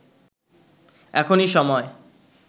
এখনি সময়”